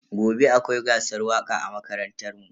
Gobe akwai gasar waka a makarantar mu.